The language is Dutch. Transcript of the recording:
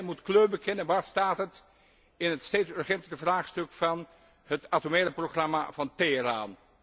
Turkije moet kleur bekennen waar staat het in het steeds urgentere vraagstuk van het atomaire programma van Teheran?